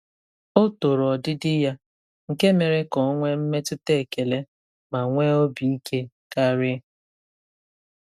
Ọ toro ọdịdị ya, nke mere ka ọ nwee mmetụta ekele ma nwee obi ike karị.